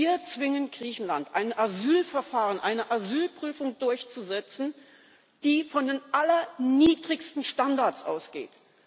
Wir zwingen Griechenland, ein Asylverfahren, eine Asylprüfung durchzusetzen, die von den allerniedrigsten Standards ausgeht.